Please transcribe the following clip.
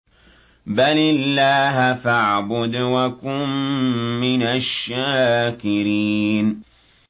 بَلِ اللَّهَ فَاعْبُدْ وَكُن مِّنَ الشَّاكِرِينَ